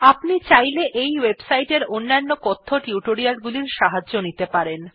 আপনি চাইলে এই ওয়েবসাইট এর অন্য কথ্য টিউটোরিয়াল গুলির সাহায্য নিতে পারেন